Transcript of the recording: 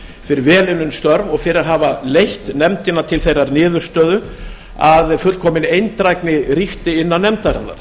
fyrir vel unnin störf og fyrir að hafa leitt nefndina til þeirrar niðurstöðu að fullkomin eindrægni ríkti innan nefndarinnar